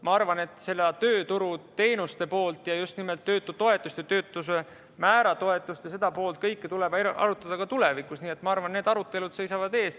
Ma arvan, et seda tööturuteenuste poolt ja just nimelt töötutoetuste määra ja seda kõike tuleb arutada ka tulevikus, nii et ma arvan, et need arutelud seisavad ees.